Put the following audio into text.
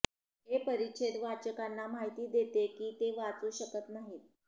हे परिच्छेद वाचकांना माहिती देते की ते वाचू शकत नाहीत